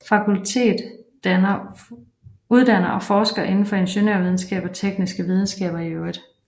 Fakultetet uddanner og forsker indenfor ingeniørvidenskab og tekniske videnskaber i øvrigt